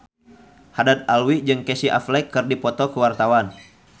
Haddad Alwi jeung Casey Affleck keur dipoto ku wartawan